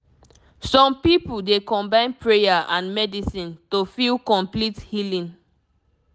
some people dey combine prayer and medicine to feel complete healing